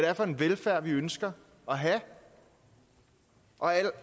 er for en velfærd vi ønsker at have og